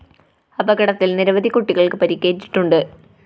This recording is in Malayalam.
അപകടത്തില്‍ നിരവധി കുട്ടികള്‍ക്ക് പരിക്കേറ്റിട്ടുണ്ട്